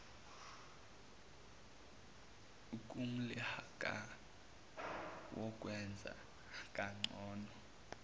kumklhakah wokwenza kangcono